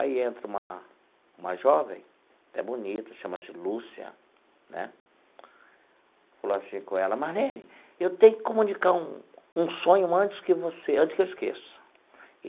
Aí entra uma uma jovem, até bonita, chama-se Lúcia né, falou assim com ela, Marlene, eu tenho que comunicar um um sonho antes que você antes que eu esqueça.